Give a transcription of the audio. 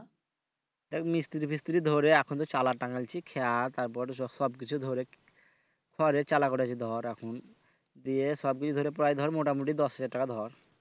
দেখ মিস্তিরি পিস্তিরি ধরে এখন তো তারপর সবকিছু ধরে খড়ের চালা করেছি ধর এখন দিয়ে সবই ধরে প্রায় ধর মোটামোটি দশ হাজার টাকা ধর